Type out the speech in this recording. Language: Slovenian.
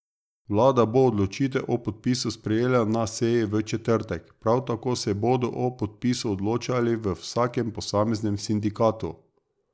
Vlada bo odločitev o podpisu sprejela na seji v četrtek, prav tako se bodo o podpisu odločali v vsakem posameznem sindikatu.